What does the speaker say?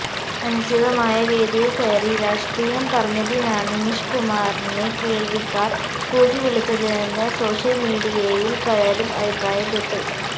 അനുചിതമായ വേദിയിൽക്കയറി രാഷ്ട്രീയം പറഞ്ഞതിനാണ് നിഷ് കുമാറിനെ കേൾവിക്കാർ കൂക്കിവിളിച്ചതെന്ന് സോഷ്യൽ മീഡിയയിൽ പലരും അഭിപ്രായപ്പെട്ടു